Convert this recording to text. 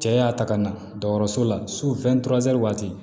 Cɛ y'a ta ka na dɔgɔtɔrɔso la waati